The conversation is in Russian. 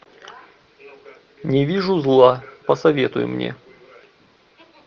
не вижу зла посоветуй мне